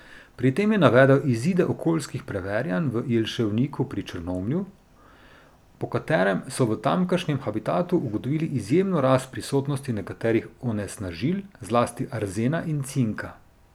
Pri tem je navedel izide okoljskih preverjanj v Jelševniku pri Črnomlju, po katerih so v tamkajšnjem habitatu ugotovili izjemno rast prisotnosti nekaterih onesnažil, zlati arzena in cinka.